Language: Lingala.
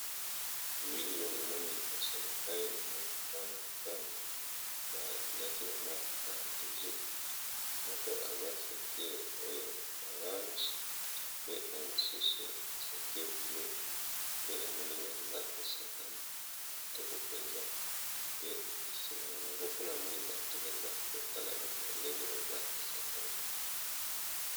bilio a moni liboso na ngai na moni pana pane balati bamwi carategie moko eza sentire oyo orange pe na mosusu centire vleu pe na moni baza kosakana etoko mpenza pe nsima na bango kuna amoni bato baza kotala bango ndenge baza kosakana